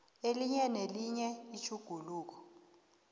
elinye nelinye itjhuguluko